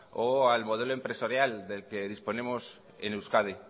o al modelo empresarial del que disponemos en euskadi